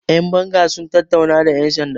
yanbanga sun tattauna da yansanda